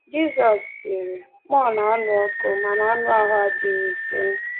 Jizọs sịrị: “Mmụọ na-anụ ọkụ, ma anụ ahụ adịghị ike.”